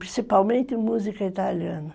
Principalmente música italiana.